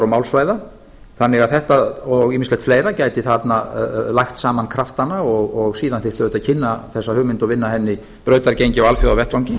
málsvæða þannig að þetta og ýmislegt fleira gæti lagt saman kraftana og síðan þyrfti auðvitað að kynna þessa hugmynd og vinna henni brautargengi á alþjóðavettvangi